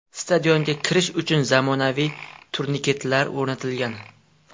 Stadionga kirish uchun zamonaviy turniketlar o‘rnatilgan .